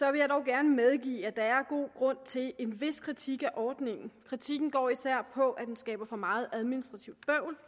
jeg dog gerne medgive at der er god grund til en vis kritik af ordningen kritikken går især på at den skaber for meget administrativt